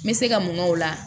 N bɛ se ka mun la